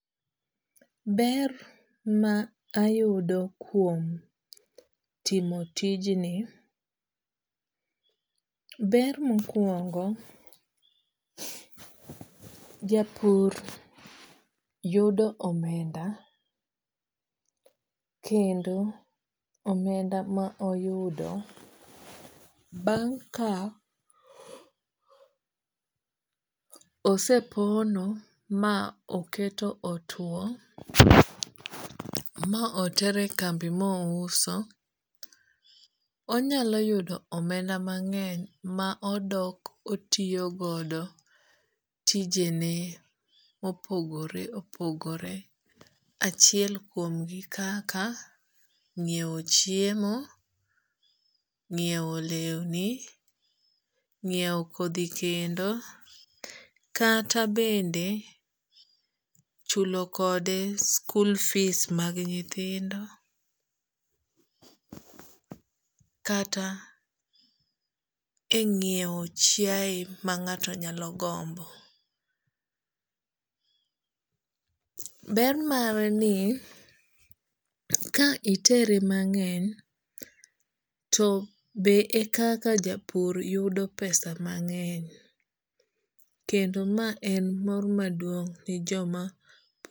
Ber ma ayudo kuom timo tijni ber mokuongo japur yudo omenda kendo omenda ma oyudo bang' ka osepono ma oketo otuo ma otere e kambi ma ouso onyalo yudo omenda mang'eny ma odok otiyo godo tijene mopogore opogore chiel kuom gi kaka nyiew chiemo, nyiew lewni, nyiew kodhi kendo. Kata bende chulo kode school fees mag nyithindo kata e nyiew chiae ma ng'ato nyalo gombo. Ber mare ni ka itere mang'eny to be ekaka japur yudo pesa mang'eny kendo ma en mor maduong' ne joma